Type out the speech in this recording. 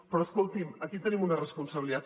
però escolti’m aquí tenim una responsabilitat